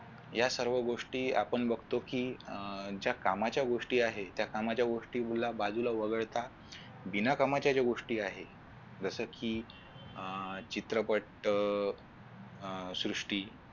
या सर्व गोष्टी आपण बघतो कि अह ज्या कामाच्या गोष्टी आहेत त्या कामाच्या गोष्टी बाजूला वगळता बिना कामाच्या ज्या गोष्टी आहेत जस कि अह चित्रपट अह सृष्टी